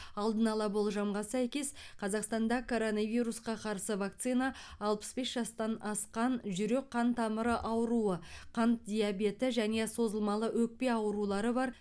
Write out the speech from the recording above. алдын ала болжамға сәйкес қазақстанда коронавирусқа қарсы вакцина алпыс бес жастан асқан жүрек қан тамыры ауруы қант диабеті және созылмалы өкпе аурулары бар